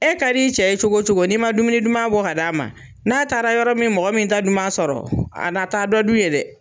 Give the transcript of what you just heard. E ka d'i cɛ ye cogo o cogo, n'i ma dumuni duman bɔ ka di a ma, n'a taara yɔrɔ min mɔgɔ min ta duman sɔrɔ, a na taa dɔ dun ye dɛ!